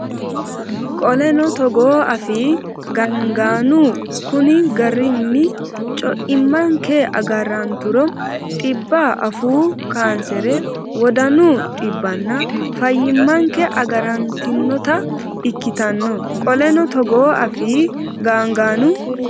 Qoleno togoo afii gaangaanu Konni garinni co immanke agaranturo dhibba afuu kaansere wodanu dhibbanna fayyimmanke agarantinota ikkitanno Qoleno togoo afii gaangaanu.